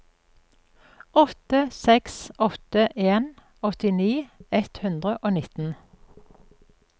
åtte seks åtte en åttini ett hundre og nitten